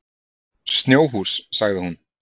Snjóhús, sagði hún.